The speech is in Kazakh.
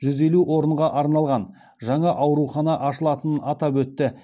жүз елу орынға арналған жаңа аурухана ашылатынын атап өтті